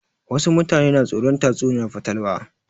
Wasu mutane na tsoron tatsuniyar fatalwa